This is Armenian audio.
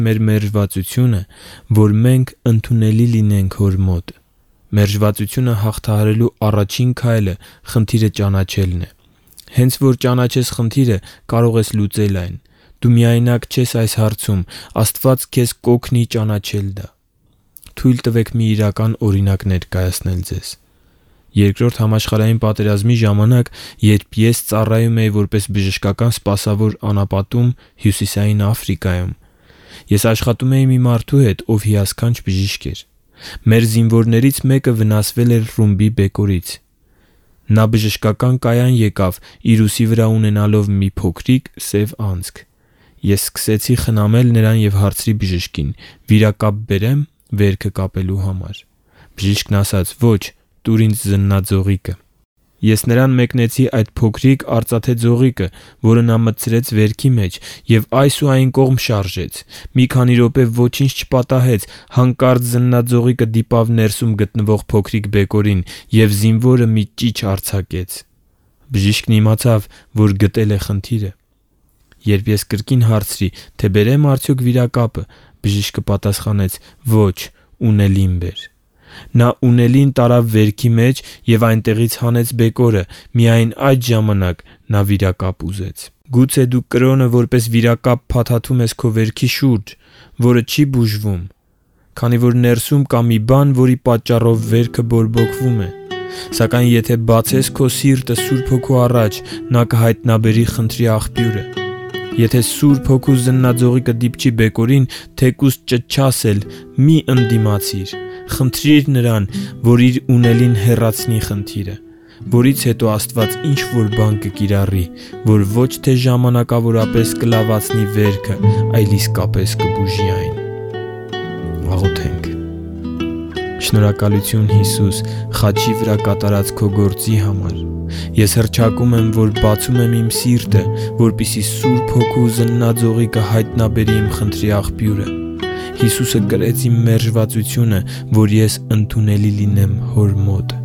մեր մերժվածությունը, որ մենք ընդունելի լինենք Հոր մոտ Մերժվածությունը հաղթահարելու առաջին քայլը խնդիրը ճանաչելն է։ Հենց որ ճանաչես խնդիրը, կարող ես լուծել այն։ Դու միայնակ չես այս հարցում. Աստված քեզ կօգնի ճանաչել այն։ Թույլ տվեք մի իրական օրինակ ներկայացնել ձեզ։ Երկրորդ համաշխարհային պատերազմի ժամանակ, երբ ես ծառայում էի որպես բժշկական սպասավոր անապատում՝ Հյուսիսային Աֆրիկայում, ես աշխատում էի մի մարդու հետ, ով հիասքանչ բժիշկ էր։ Մեր զինվորներից մեկը վնասվել էր ռումբի բեկորից։ Նա բժշկական կայան եկավ՝ իր ուսի վրա ունենալով փոքրիկ, սև անցք։ Ես սկսեցի խնամել նրան և հարցրի բժշկին. «Վիրակապ բերե՞մ վերքը կապելու համար»։ Բժիշկն ասաց. «Ո՛չ, տու՛ր ինձ զննաձողիկը»։ Այսպիսով ես նրան մեկնեցի այդ փոքրիկ արծաթե ձողիկը, որը նա մտցրեց վերքի մեջ և այս ու այն կողմ շարժեց։ Մի քանի րոպե ոչինչ չպատահեց։ Հանկարծ զննաձողիկը դիպավ ներսում գտնվող փոքրիկ բեկորին, և զինվորը մի ճիչ արձակեց։ Բժիշկն իմացավ, որ գտել է խնդիրը։ Երբ ես կրկին հարցրի, թե բերե՞մ արդյոք վիրակապը, բժիշկը պատասխանեց. «Ո՛չ, պինցե՛տը բեր»։ Նա պինցետը տարավ վերքի մեջ և այնտեղից հանեց բեկորը։ Միայն այդ ժամանակ նա վիրակապ ուզեց։ Գուցե դու կրոնը որպես վիրակապ փաթաթում ես քո վերքի շուրջը, որը չի բուժվում, քանի որ ներսում կա մի բան, որի պատճառով վերքը բորբոքվում է։ Սակայն եթե բացես քո սիրտը Սուրբ Հոգու առաջ, նա կհայտնաբերի խնդրի աղբյուրը։ Եթե Սուրբ Հոգու զննաձողիկը դիպչի բեկորին, թեկուզ ճչաս էլ, սակայն մի՛ ընդդիմացիր։ Խնդրի՛ր Նրան, որ Իր պինցետով հեռացնի խնդիրը։ Որից հետո Աստված ինչ-որ բան կկիրառի, որ ոչ թե ժամանակավորապես կլավացնի վերքը, այլ իսկապես կբուժի այն։ Շնորհակալությու՛ն, Հիսու՛ս, խաչի վրա կատարած քո գործի համար։ Ես հռչակում եմ, որ բացում եմ իմ սիրտը, որպեսզի Սուրբ Հոգու զննաձողիկը հայտնաբերի իմ խնդրի աղբյուրը։ Հիսուսը կրեց իմ մերժվածությունը, որ ես ընդունելի լինեմ Հոր մոտ։